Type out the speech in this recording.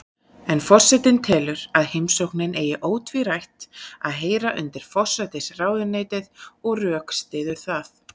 En forseti telur að heimsóknin eigi ótvírætt að heyra undir forsætisráðuneytið og rökstyður það.